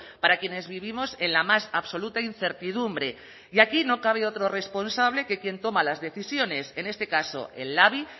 para quienes vivimos en la más absoluta incertidumbre y aquí no cabe otro responsable que quien toma las decisiones en este caso el labi